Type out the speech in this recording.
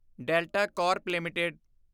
delta Corp LTD